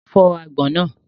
Fọ́ àgbọn náà!